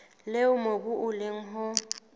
leo mobu o leng ho